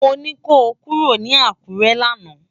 Mó ni kó kúró ni Akure làná